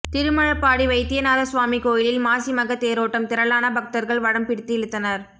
திருமழபாடி வைத்தியநாத சுவாமி கோயிலில் மாசி மக தேரோட்டம் திரளான பக்தர்கள் வடம் பிடித்து இழுத்தனர்